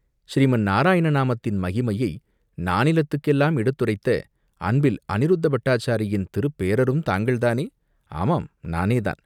"ஸ்ரீமந் நாராயண நாமத்தின் மகிமையை நானிலத்துக்கெல்லாம் எடுத்துரைத்த அன்பில் அநிருத்தப் பட்டாச்சாரியின் திருப்பேரரும் தாங்கள்தானே?" "ஆமாம், நானேதான்!